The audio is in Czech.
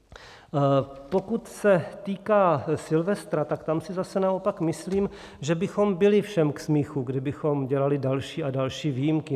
Pokud se týká silvestra, tak tam si zase naopak myslím, že bychom byli všem k smíchu, kdybychom dělali další a další výjimky.